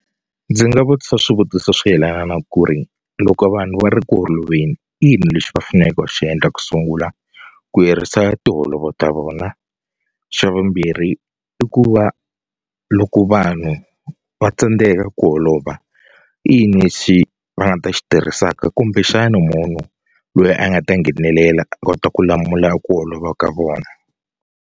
Ndzi nga vutisa swivutiso swo yelana na ku ri loko vanhu va ri ku holoveni i yini lexi va faneleke va xi yendla ku sungula ku herisa tiholovo ta vona xa vumbirhi i ku va loko vanhu va tsandzeka ku holova i yini lexi va nga ta xi tirhisaka kumbexani munhu loyi a nga ta nghenelela a kota ku lamula ku holova ka vona.